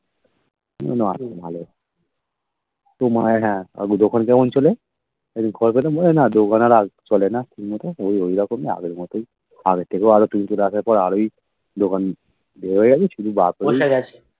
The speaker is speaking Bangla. না ভালো তো মনে হয় হ্যাঁ আগে দোকান যেমন ছিল তেমন খেয়াঘাটে না দোকান আর চলে না ঠিক মতো ওই ঐরকমই আগের মতোই আগের থেকেও আরেকটু হতো আরোই দোকান বসে গেছে শুধু